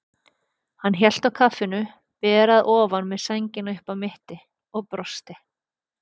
Hann hélt á kaffinu, ber að ofan með sængina upp að mitti, og brosti.